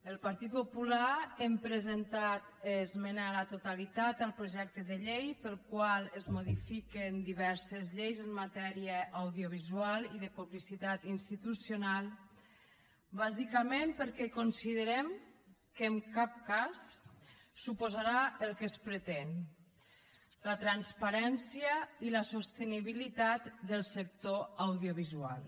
el partit popular hem presentat esmena a la totalitat al projecte de llei pel qual es modifiquen diverses lleis en matèria audiovisual i de publicitat institucional bàsicament perquè considerem que en cap cas suposarà el que es pretén la transparència i la sostenibilitat del sector audiovisual